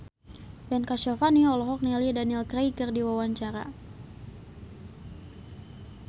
Ben Kasyafani olohok ningali Daniel Craig keur diwawancara